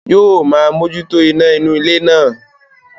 Yóò máa mójútó iná inú ilé náà